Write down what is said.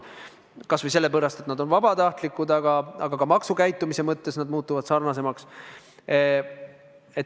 Seda kas või sellepärast, et need on vabatahtlikud, aga ka maksukäitumise mõttes need muutuvad sarnasemaks.